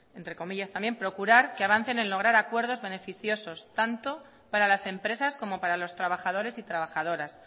entre comillas también procurar que avancen en lograr acuerdos beneficiosos tanto para las empresas como para los trabajadores y trabajadoras